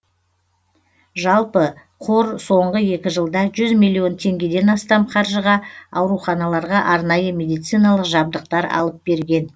жалпы қор соңғы екі жылда жүз миллион теңгеден астам қаржыға ауруханаларға арнайы медициналық жабдықтар алып берген